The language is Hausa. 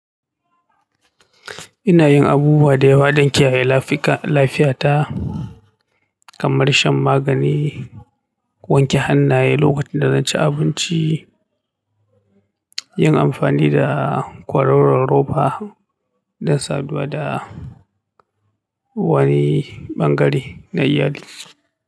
Ina yin abubuwa da yawa don kiyaye lafiyata kamar shan magani, wanke hannaye lokacin da zan ci abinci, yin amfani da kwaroron roba. Don saduwa da wani bangare na iyali.